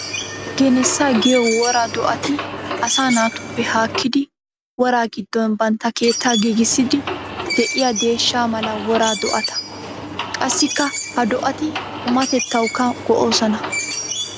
Geneessa giyo woraa do'atti asaa naatuppe haakkidi wora giddon bantta keetta giigissidi de'iya deeshsha mala wora do'atta. Qassikka ha do'atti qummatettawukka go'osonna.